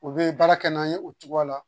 U bɛ baara kɛ n'an ye o cogoya la